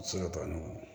Se ka baaraw